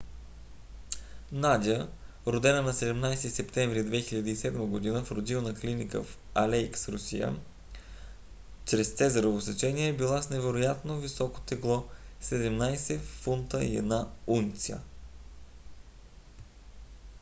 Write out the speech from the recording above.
надя родена на 17 септември 2007 г. в родилна клиника в алейск русия чрез цезарово сечение е била с невероятно високото тегло 17 фунта и 1 унция